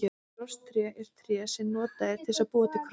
Krosstré er tré sem notað er til að búa til krossa.